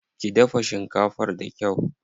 Ki dafa shinkafar da kyau.